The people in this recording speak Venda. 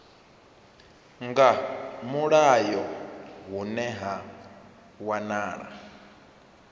nga mulayo hune ha wanala